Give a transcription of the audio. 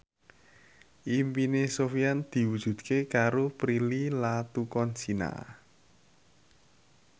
impine Sofyan diwujudke karo Prilly Latuconsina